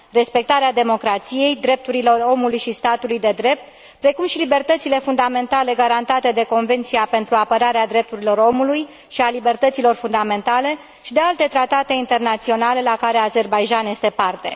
Respectarea democrației, drepturilor omului și statului de drept, precum și libertățile fundamentale garantate de Convenția pentru apărarea drepturilor omului și a libertăților fundamentale și de alte tratate internaționale la care Azerbaidjan este parte.